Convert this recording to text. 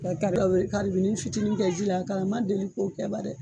Ka ka fitini kɛ ji la ma deli ko kɛ ba dɛ.